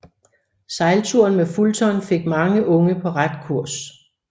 Sejlturen med Fulton fik mange unge på ret kurs